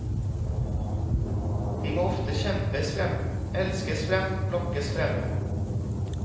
De må ofte kjempes frem, elskes frem, lokkes frem.